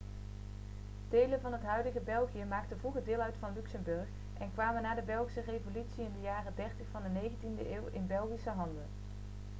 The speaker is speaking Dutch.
delen van het huidige belgië maakten vroeger deel uit van luxemburg en kwamen na de belgische revolutie in de jaren 30 van de 19e eeuw in belgische handen